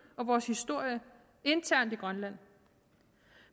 og vores historie internt i grønland